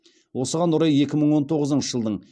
осыған орай екі мың он тоғызыншы жылдың